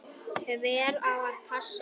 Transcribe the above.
Hver á að passa okkur?